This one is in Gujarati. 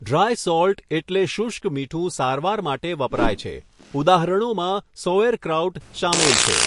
ડ્રાય સોલ્ટ એટલે શુષ્ક મીઠું સારવાર માટે વપરાય છે ઉદાહરણોમાં સૌઍરક્રાઉટ શામેલ છે.